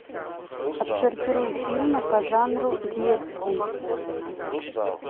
отсортируй фильмы по жанру детский